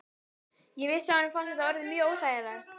Ég vissi að honum fannst þetta orðið mjög óþægilegt.